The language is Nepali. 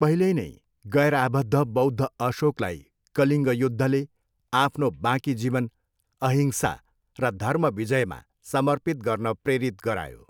पहिल्यै नै गैरआबद्ध बौद्ध अशोकलाई कलिङ्ग युद्धले आफ्नो बाँकी जीवन अहिंसा र धर्म विजयमा समर्पित गर्न प्रेरित गरायो।